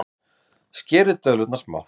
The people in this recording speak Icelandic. Skerið döðlurnar smátt.